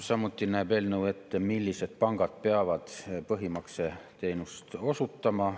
Samuti näeb eelnõu ette, millised pangad peavad põhimakseteenust osutama.